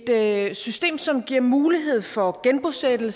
er et system som giver mulighed for genbosætning